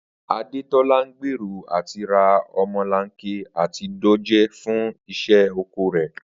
Adétó̩lá ń gbèrò àti ra o̩mo̩lanke àti dòjé fún is̩é̩ oko rè̩